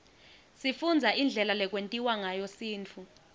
sifundza indlela lekwentiwa ngayo sintfu